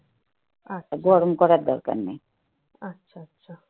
গরম করার দরকার নেই